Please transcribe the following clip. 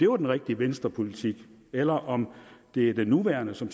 var den rigtige venstrepolitik eller om det er den nuværende som